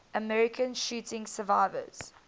american shooting survivors